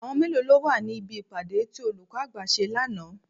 Àwọn mélòó lọ wà ní bí ìpàdé tí olùkọ́ àgbà ṣe lánàá?